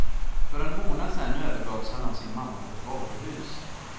För en månad sedan övergavs han av sin mamma på ett varuhus.